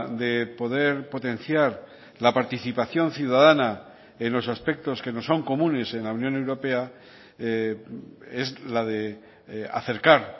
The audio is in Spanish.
de poder potenciar la participación ciudadana en los aspectos que nos son comunes en la unión europea es la de acercar